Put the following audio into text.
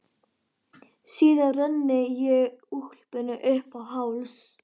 Síðan renni ég úlpunni upp í háls.